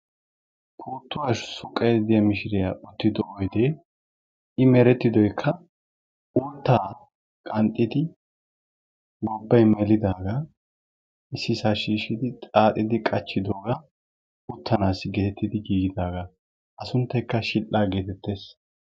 Puttuwaa suuqaydda diyaa miishshiriyaa uttido oydee i merettidooykka uuttaa qanxxidi gobbay meelidaaga issisaa shiishidi xaaxidi qaachchidoogaa uttanaasi geetettidi giigidaaga. A sunttaykka shidhdhaa getettees.